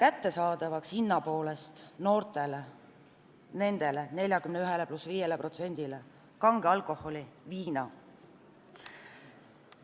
Me teeme viina ja muu kange alkoholi nendele 41 + 5%-le noortele hinna poolest kättesaadavamaks.